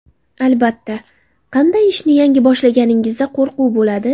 Albatta, qanday ishni yangi boshlaganingizda qo‘rquv bo‘ladi.